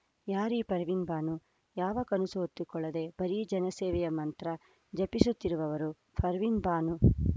ಯಾರೀ ಪರ್ವಿನ್‌ ಬಾನು ಯಾವ ಕನಸು ಹೊತ್ತುಕೊಳ್ಳದೆ ಬರೀ ಜನ ಸೇವೆಯ ಮಂತ್ರ ಜಪಿಸುತ್ತಿರುವವರು ಪರ್ವಿನ್‌ ಬಾನು